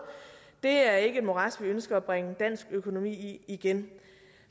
det er ikke et morads vi ønsker at bringe dansk økonomi i igen